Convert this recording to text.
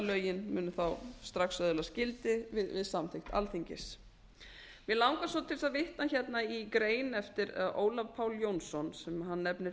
lögin munu þá strax öðlast gildi við samþykkt alþingis mig langar svo til þess að vita hérna í grein eftir ólaf pál jónsson sem hann nefnir